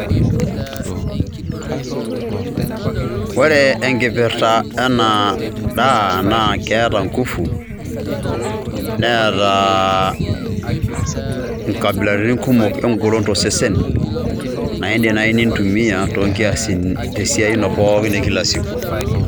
ore enkipirta ena daa naa keeta nkufu, neeta inkabilaritin kumok eng'olon tosesen, naa idim naaji nintumie te siai ino e kila siku.